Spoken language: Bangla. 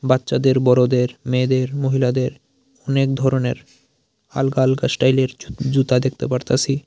বাচ্চাদের বড়দের মেয়েদের মহিলাদের অনেক ধরনের আলগা আলগা স্টাইলের জুতা দেখতে পারতাসি।